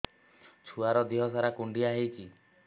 ଛୁଆର୍ ଦିହ ସାରା କୁଣ୍ଡିଆ ହେଇଚି